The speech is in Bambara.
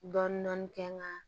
Dɔni dɔni kɛ n ga